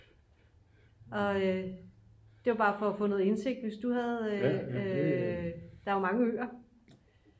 og det var bare for at få noget indsigt hvis du havde der er jo mange øer